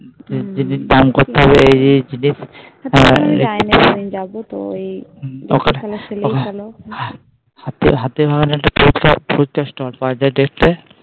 দাম করতে হবে এই এই জিনিস যায়নি আমি যাবো তো ওখানে একটা ফুচকা Stall পাওয়া যায় দেখতে